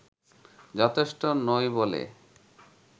যথেষ্ট নই বলে